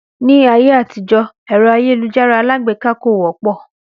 Ní ayé àtijọ́ èrò àyélujárá alágbèká kò wọ́pọ̀